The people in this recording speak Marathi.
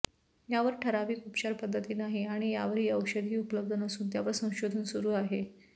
यावर ठराविक उपचार पद्धती नाही आणि यावर औषधही उपलब्ध नसून त्यावर संशोधन सुरु आहे